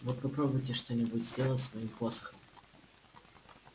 вот попробуйте что-нибудь сделать с моим посохом